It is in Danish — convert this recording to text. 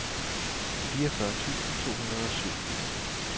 fireogfyrre tusind to hundrede og syv